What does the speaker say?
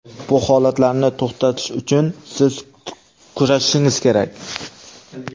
Bu holatlarni to‘xtatish uchun siz kurashishingiz kerak.